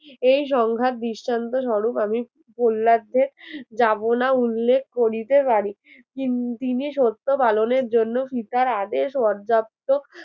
এই সংঘাত দৃষ্টান্ত স্বরূপ আমি প্রহ্লাদ্যের যাবনা উল্লেখ করিতে পারি তিন~তিনি সত্য পালনের জন্য পিতার আদেশ পর্যাপ্ত